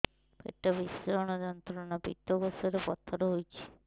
ପେଟ ଭୀଷଣ ଯନ୍ତ୍ରଣା ପିତକୋଷ ରେ ପଥର ହେଇଚି